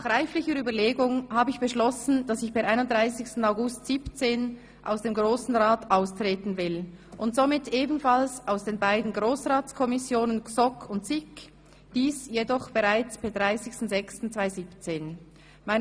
Nach reiflicher Überlegung habe ich beschlossen, dass ich per 31. August 2017 aus dem Grossen Rat austreten will und somit ebenfalls aus den beiden Grossratskommissionen GSoK und SiK, dies jedoch bereits per 30. 6. 17.